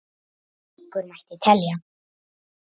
Og lengur mætti telja.